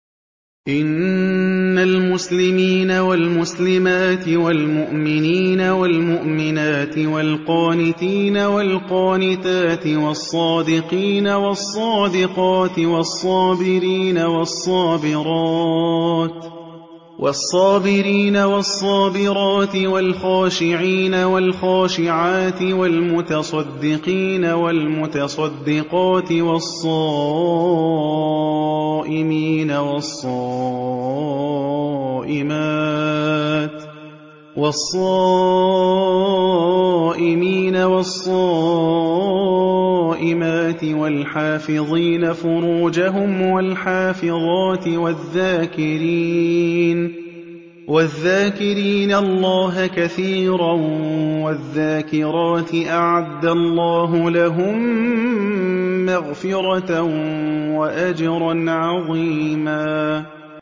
إِنَّ الْمُسْلِمِينَ وَالْمُسْلِمَاتِ وَالْمُؤْمِنِينَ وَالْمُؤْمِنَاتِ وَالْقَانِتِينَ وَالْقَانِتَاتِ وَالصَّادِقِينَ وَالصَّادِقَاتِ وَالصَّابِرِينَ وَالصَّابِرَاتِ وَالْخَاشِعِينَ وَالْخَاشِعَاتِ وَالْمُتَصَدِّقِينَ وَالْمُتَصَدِّقَاتِ وَالصَّائِمِينَ وَالصَّائِمَاتِ وَالْحَافِظِينَ فُرُوجَهُمْ وَالْحَافِظَاتِ وَالذَّاكِرِينَ اللَّهَ كَثِيرًا وَالذَّاكِرَاتِ أَعَدَّ اللَّهُ لَهُم مَّغْفِرَةً وَأَجْرًا عَظِيمًا